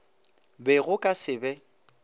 be go ka se be